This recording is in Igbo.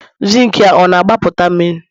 Zinc na-agbapụta mmiri?